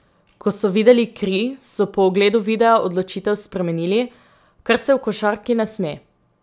Ko so videli kri, so po ogledu videa odločitev spremenili, kar se v košarki ne sme.